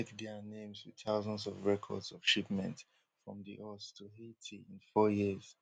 we check dia names wit thousands of records of shipments from di us to haiti in four years